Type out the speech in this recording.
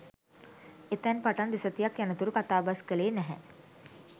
එතැන් පටන් දෙසතියක් යනතුරු කතාබස් කළේ නැහැ